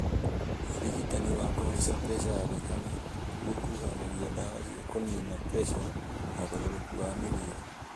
ũrigitani wa kũhaica preca ya thakame gũkuruhanagia ndawa cia kũnina preca na ũgarũrũku wa mĩrĩre